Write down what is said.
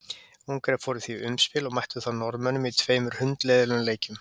Ungverjar fóru því í umspil og mættu þar Norðmönnum í tveimur hundleiðinlegum leikjum.